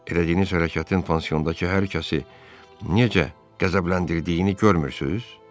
Elədiyiniz hərəkətin pansiondakı hər kəsi necə qəzəbləndirdiyini görmürsüz?